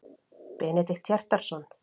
Benedikt Hjartarson.